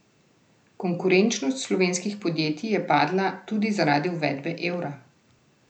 Konkurenčnost slovenskih podjetij je padla tudi zaradi uvedbe evra.